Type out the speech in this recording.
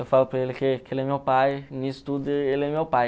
Eu falo para ele que que ele é meu pai, nisso tudo ele é meu pai.